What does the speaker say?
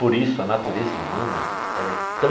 Por isso, a natureza humana ela é tão...